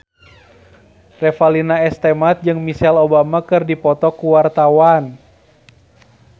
Revalina S. Temat jeung Michelle Obama keur dipoto ku wartawan